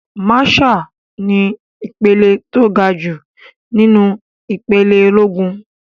Màṣáà ni ìpele tó gajù nínú ìpele ológun.